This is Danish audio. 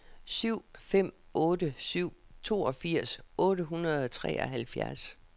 syv fem otte syv toogfirs otte hundrede og treoghalvfjerds